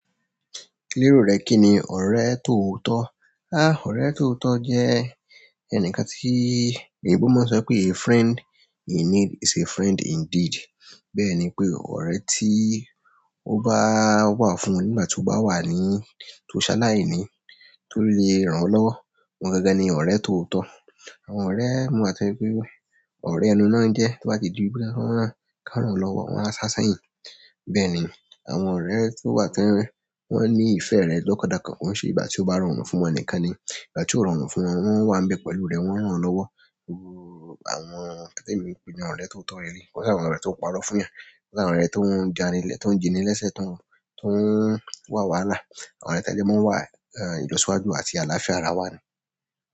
Bi ọrẹ kini, ọrẹ tootọ. Há! Ọ̀rẹ́ tóòótọ́ jẹ́ ẹnìkan tí, oyinbo mọ sọ pé "a friend in need is a friend indeed." Bẹ́ẹ̀ ni pé, ọ̀rẹ́ tí ó bá, ó bá wá fún ọ nígbà tí o bá wà ní, tó ṣá láìní, tó lè ràn ọ́ lọ́wọ́, òun gangan ni ọ̀rẹ́ tóòótọ́. Àwọn ọ̀rẹ́ mii wa tó jẹ pé, ọ̀rẹ́ ẹnu náà ń jẹ tó bá ti ju wípé boya ki wọń ràn ká ràn ọ́ lọ́wọ́, wọn a ṣáṣá yín. Bẹ́ẹ̀ ni, àwọn ọ̀rẹ́ tí ó wa tó jẹ́, wọ́n ní ìfẹ́ rẹ lọ́kànlọ́kàn, ko ṣe ìgbà tí ó bá rọrùn fún wọn nìkan ni. Ìgbà tí ó rọrùn fún wọn, wọ́n wà ń bẹ pẹ̀lú rẹ, wọ́n ń ràn ọ́ lọ́wọ́. Iru àwọn, temi n pè ni ọ̀rẹ́ tóòótọ́ le le leyi. Wọ́n sì àwọn ọ̀rẹ́ tó ń parọ́ fún ẹ. O ni àwọn ọrẹ to dani, to n ji ni lẹsẹ to n wa wàhálà. Àwọn ọ̀rẹ́ to máa ń wà, eh, ìlọsíwájú àti àlàáfíà ara wa ni.